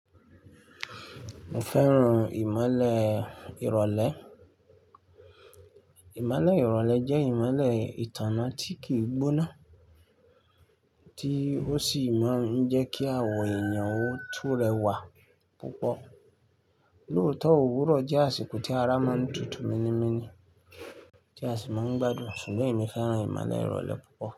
Mo fẹ́ràn ìmọ̀le ìrọ̀lẹ́. Ìmọ̀le ìrọ̀lẹ́ jẹ́ ìmọ̀le ìtànná tí kì í gbóná, tí ó sì máa ń jẹ́ kí àwọ èèyàn ó tú rẹwà púpọ̀. Lóòótọ́, òwúrọ̀ jẹ́ àsìkò tí ará mọ́ ń tutù minníminní, tí a sì máa ń gbádùn, ṣùgbọ́n èmi fẹ́ràn ìmọ̀le ìrọ̀lẹ́ púpọ̀.